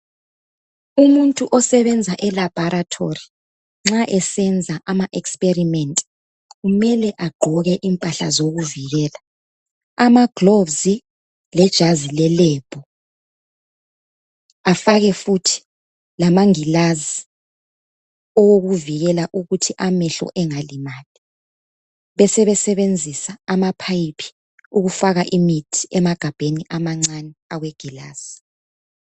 Umuntu osebenza elabharatholi nxa esenza ama experiment kumele agqoke impahla zokuzivikela amagloves lejazi lelebhu afake futhi lamagilazi owokuvikela ukuthi amehlo engalimali besebesebenzisa amaphayiphi ukufaka imithi emagabheni amancane awegilazi